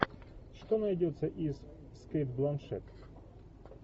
что найдется из с кейт бланшет